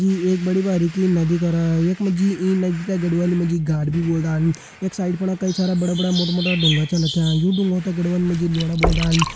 यी एक बड़ी बारीकी नदी करा। यख मा जी यी नदी त गढ़वाली मा जी गाड भी बोल्दन। यख साइड फुण कई सारा बड़ा-बड़ा मोटा-मोटा डुंगा छन रख्यां यू डूंगा त गढ़वाली मा जी लोढ़ा बोल्दन।